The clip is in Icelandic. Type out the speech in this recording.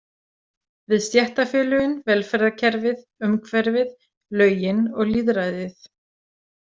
Við stéttarfélögin, velferðarkerfið, umhverfið, lögin og lýðræðið.